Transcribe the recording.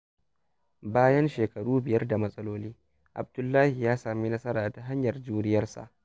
Bayan shekaru biyar da matsaloli, Abdullahi ya samu nasara ta hanyar juriyarsa.